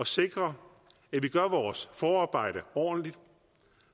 sikre at vi gør vores forarbejde ordentligt